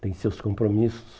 Tem seus compromissos.